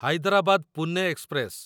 Hyderabad Pune express